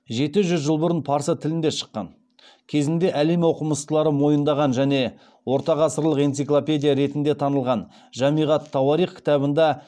жеті жүз жыл бұрын парсы тілінде шыққан кезінде әлем оқымыстылары мойындаған және ортағасырлық энциклопедия ретінде танылған жамиғ ат тауарих кітабында